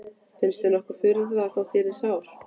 Finnst þér nokkur furða þó að ég yrði sár?